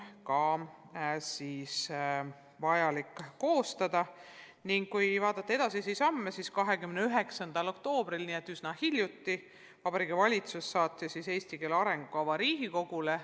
Kui vaadata edasisi samme, siis üsna hiljuti, 29. oktoobril, saatis Vabariigi Valitsus eesti keele arengukava Riigikogule.